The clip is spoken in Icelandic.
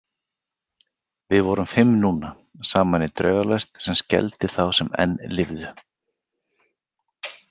Við vorum fimm núna, saman í draugalest sem skelfdi þá sem enn lifðu.